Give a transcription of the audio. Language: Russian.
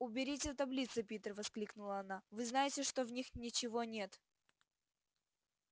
уберите таблицы питер воскликнула она вы знаете что в них ничего нет